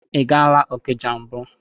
I gaala Okija mbụ?